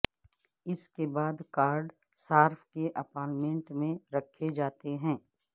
اس کے بعد کارڈ صارف کے اپارٹمنٹ میں رکھے جاتے ہیں